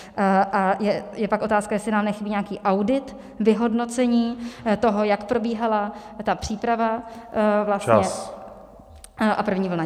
A je pak otázka, jestli nám nechybí nějaký audit, vyhodnocení toho, jak probíhala ta příprava vlastně a první vlna.